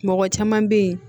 Mɔgɔ caman bɛ ye